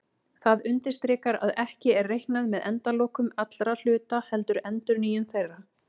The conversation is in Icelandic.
Það undirstrikar að ekki er reiknað með endalokum allra hluta heldur endurnýjun þeirra.